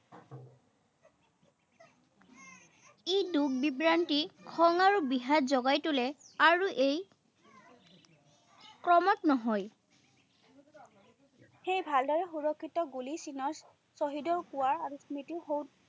ই দুখ-বিভ্ৰান্তি, খং আৰু বিষাদ যোগাই তোলে, আৰু এই ক্ৰমত নহয়, সেয়ে ভালদৰে সুৰক্ষিত গুলি চিনক শ্বহীদেও পোৱা আৰু স্মৃতিশৌধ